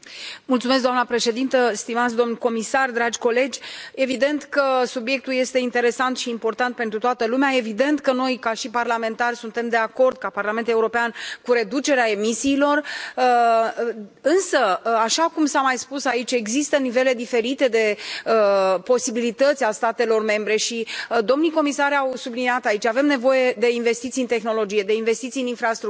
Doamnă președintă, stimați domni comisari, dragi colegi, evident că subiectul este interesant și important pentru toată lumea, evident că noi, ca parlamentari, suntem de acord, ca Parlament European, cu reducerea emisiilor, însă, așa cum s a mai spus aici, există nivele diferite de posibilități ale statelor membre și domnii comisari au subliniat aici avem nevoie de investiții în tehnologie, de investiții în infrastructură.